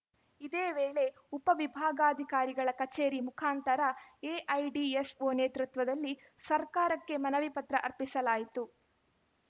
ಇದೇ ವೇಳೆ ಉಪ ವಿಭಾಗಾಧಿಕಾರಿಗಳ ಕಚೇರಿ ಮುಖಾಂತರ ಎಐಡಿಎಸ್‌ಓ ನೇತೃತ್ವದಲ್ಲಿ ಸರ್ಕಾರಕ್ಕೆ ಮನವಿ ಪತ್ರ ಅರ್ಪಿಸಲಾಯಿತು